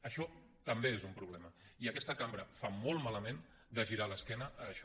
això també és un problema i aquesta cambra fa molt malament de girar l’esquena a això